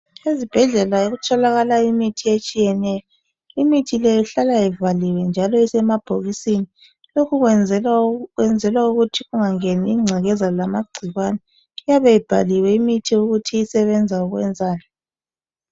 Ezibhedlela kutholakala imithi etshiyeneyo, imithi le ihlala ivaliwe njalo isemabhokisini lokhu kuyenzelwa ukuthi kungangeni ingcekeza legcikwane. Iyabe ibhaliwe imithi ukuthi isebenza ngokwani